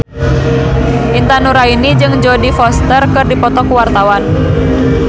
Intan Nuraini jeung Jodie Foster keur dipoto ku wartawan